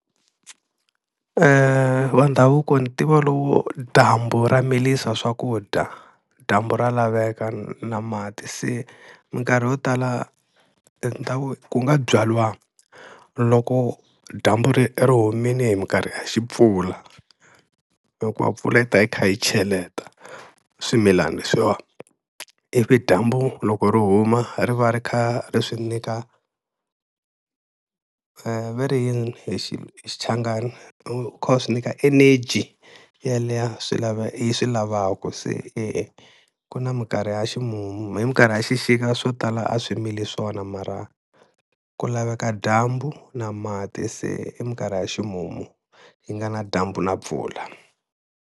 Wa ndhavuko ni tiva lowo dyambu ra milisa swakudya, dyambu ra laveka na mati se minkarhi yo tala ni ta ku ku nga byariwa loko dyambu ri ri humile hi minkarhi ya xi mpfula, hikuva mpfula yi ta yi kha yi cheleta swimilana leswiwani, ivi dyambu loko ri huma ri va ri kha ri swi nyika veri i yini hi Xichangani loko u kha u swi nyika energy yaliya yi swi lavaku se eku na minkarhi ya ximumu, hi minkarhi ya xixika swo tala a swi mili swona mara ku laveka dyambu na mati se i minkarhi ya ximumu yi nga na dyambu na mpfula.